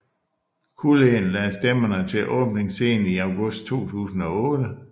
Culleen lagde stemme til åbningsscenen i august 2008